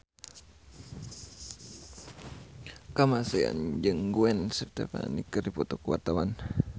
Kamasean jeung Gwen Stefani keur dipoto ku wartawan